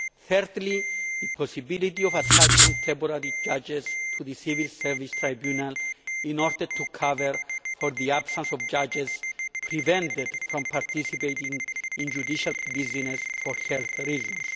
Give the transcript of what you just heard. and thirdly, the possibility of attaching temporary judges to the Civil Service Tribunal in order to cover for the absence of judges prevented from participating in judicial business for health reasons.